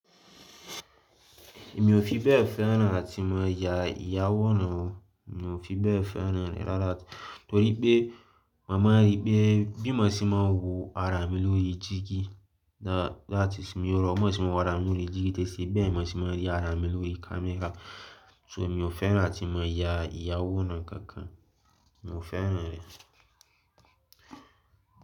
Mi ò fi bẹ́ẹ̀ fẹ́ràn áti máa ya ìyàwóran. Mi ò fi bẹ́ẹ̀ fẹ́ràn rẹ̀ rárá torí pé, màá ma rí pé bí mo ṣe máa ń wo ara mi lórí dígí láti tí mo rọ, mó ṣe máa wo ara mi lórí dígí, tẹ́ sé bẹ́ẹ̀ mó ṣe máa rí ara mi lórí camera. So mi ò fẹ́ràn láti máa ya ìyàwó náà kankan. Mi ò fẹ́ràn rẹ̀.